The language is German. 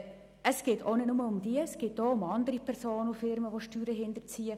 Es geht auch nicht nur um das, es geht auch um andere Personen und Firmen, die Steuern hinterziehen.